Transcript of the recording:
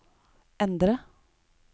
endre